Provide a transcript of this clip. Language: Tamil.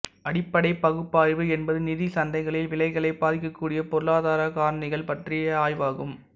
அடிப்படைப் பகுப்பாய்வு என்பது நிதி சந்தைகளில் விலைகளைப் பாதிக்கக்கூடிய பொருளாதாரக் காரணிகள் பற்றிய ஆய்வாகும்